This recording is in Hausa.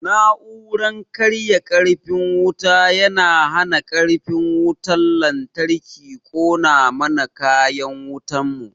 Na'uran karya karfin wuta yana hana karfin wutan lantarki kona mana kayan wutan mu